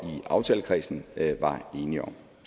aftalekredsen var enige om